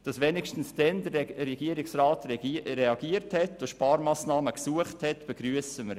Dass wenigstens zu diesem Zeitpunkt der Regierungsrat reagierte und nach Sparmassnahmen suchte, begrüssen wir.